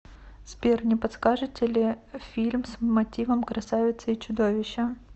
сбер не подскажите ли фильм с мотивом красавицы и чудовища